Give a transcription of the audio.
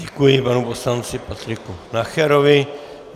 Děkuji panu poslanci Patriku Nacherovi.